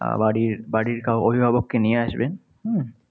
বাড়ির বাড়ির অভিভাবককে নিয়ে আসবে। হম